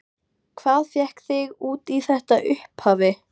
Hvað fékk þig út í þetta í upphafi?